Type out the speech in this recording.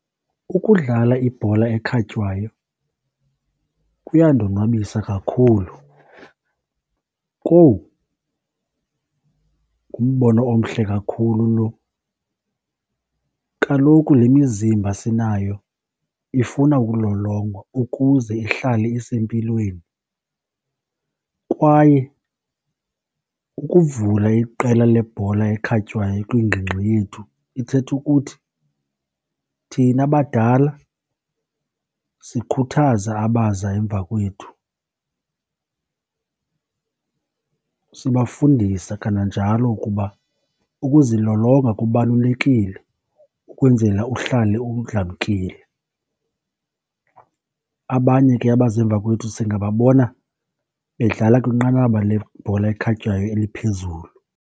Ukudlala ibhola ekhatywayo kuyandonwabisa kakhulu. Kowu, ngumbono omhle kakhulu lo! Kaloku le mizimba sinayo ifuna ukulolongwa ukuze ihlale isempilweni kwaye kukuvula iqela lebhola ekhatywayo kwingingqi yethu ithetha ukuthi thina badala sikhuthaza abaza emva kwethu. Sibafundisa kananjalo ukuba ukuzilolonga kubalulekile ukwenzela uhlale . Abanye ke abaza emva kwethu singababona bedlala kwinqanaba lebhola ekhatywayo eliphezulu.